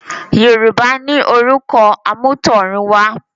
Yorùbá ní “orúkọ àmútọ̀runwá”